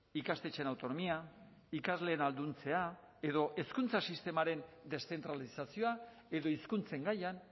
ikastetxeen autonomia ikasleen ahalduntzea edo hezkuntza sistemaren deszentralizazioa edo hizkuntzen gaian